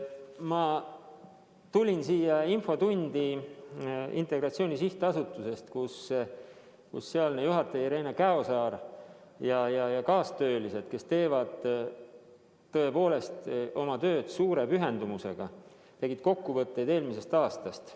Ma tulin siia infotundi Integratsiooni Sihtasutusest, kus selle juhataja Irene Käosaar ja tema kaastöölised, kes tõepoolest teevad oma tööd suure pühendumusega, tegid kokkuvõtteid eelmisest aastast.